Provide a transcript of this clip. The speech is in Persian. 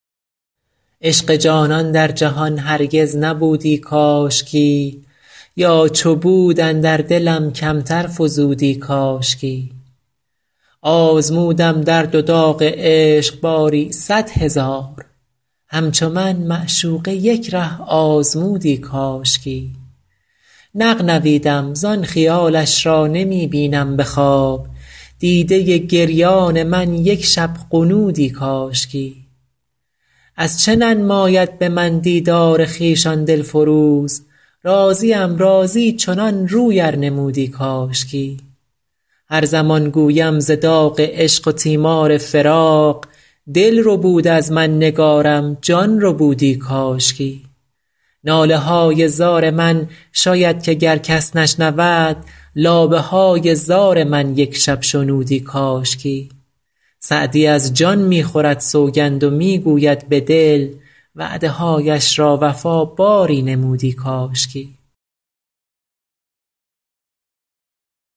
عشق جانان در جهان هرگز نبودی کاشکی یا چو بود اندر دلم کمتر فزودی کاشکی آزمودم درد و داغ عشق باری صد هزار همچو من معشوقه یک ره آزمودی کاشکی نغنویدم زان خیالش را نمی بینم به خواب دیده گریان من یک شب غنودی کاشکی از چه ننماید به من دیدار خویش آن دل فروز راضیم راضی چنان روی ار نمودی کاشکی هر زمان گویم ز داغ عشق و تیمار فراق دل ربود از من نگارم جان ربودی کاشکی ناله های زار من شاید که گر کس نشنود لابه های زار من یک شب شنودی کاشکی سعدی از جان می خورد سوگند و می گوید به دل وعده هایش را وفا باری نمودی کاشکی